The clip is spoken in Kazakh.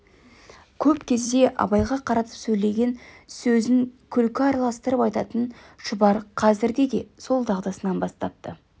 көп кезде абайға қаратып сөйлеген сөзін күлкі араластырып айтатын шұбар қазірде де сол дағдысын бастапты